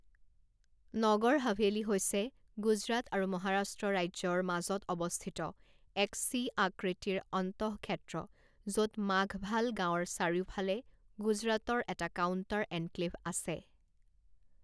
নগৰ হাভেলি হৈছে গুজৰাট আৰু মহাৰাষ্ট্ৰ ৰাজ্যৰ মাজত অৱস্থিত এক চি আকৃতিৰ অন্তঃক্ষেত্ৰ য'ত মাঘভাল গাঁৱৰ চাৰিওফালে গুজৰাটৰ এটা কাউণ্টাৰ এনক্লেভ আছে।